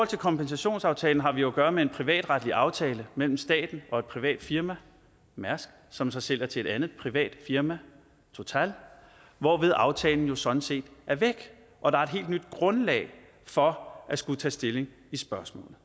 til kompensationsaftalen har vi jo at gøre med en privatretlig aftale mellem staten og et privat firma mærsk som så sælger til et andet privat firma total hvorved aftalen jo sådan set er væk og der er et helt nyt grundlag for at skulle tage stilling i spørgsmålet